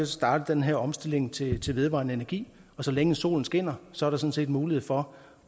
startet den her omstilling til til vedvarende energi og så længe solen skinner er sådan set mulighed for